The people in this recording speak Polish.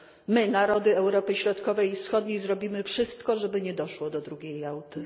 My, narody Europy Środkowej i Wschodniej, zrobimy wszystko, żeby nie doszło do drugiej Jałty.